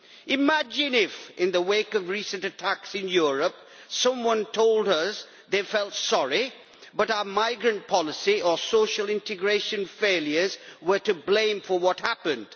Imagine if, in the wake of recent attacks in Europe, someone told us they felt sorry but our migrant policy and social integration failures were to blame for what had happened.